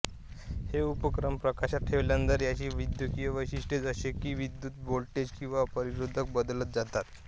हे उपकरण प्रकाशात ठेवल्यानंतर याची विद्युतीय वैशिष्ट्ये जसे कि विद्युत् व्होल्टेज किंवा प्रतिरोध बदलत जातात